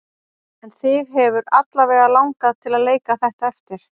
En þig hefur alla vega langað til að leika þetta eftir?